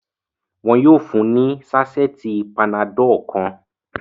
Wọ́n yóò fún ní sásẹ́ẹ̀tì panadol kan.